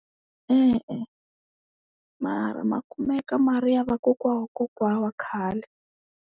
E-e, mara ma kumeka ma ri ya vakokwa wa kokwa wa khale.